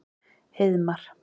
Heiðmar